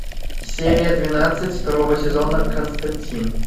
серия двенадцать второго сезона константин